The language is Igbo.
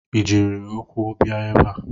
Ị jiri ụkwụ bia ebe a?